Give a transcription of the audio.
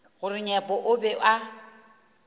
gore nyepo o be a